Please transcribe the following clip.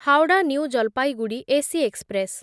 Howrah new Jalpaiguri AC express